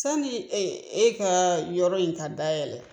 Sani e ka yɔrɔ in ta dayɛlɛ